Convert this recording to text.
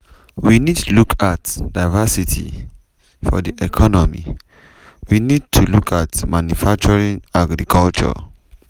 “we need to look at diversity of di economy we need to look at manufacturing agriculture."